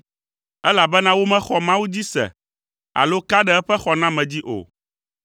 elabena womexɔ Mawu dzi se, alo ka ɖe eƒe xɔname dzi o.